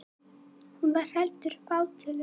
Hún var heldur fátöluð.